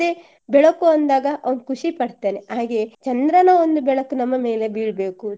ಅದೇ ಬೆಳಕು ಅಂದಾಗ ಅವ್ನು ಖುಷಿ ಪಡ್ತಾನೆ ಹಾಗೆ ಚಂದ್ರನ ಒಂದು ಬೆಳಕು ನಮ್ಮ ಮೇಲೆ ಬೀಳ್ಬೇಕು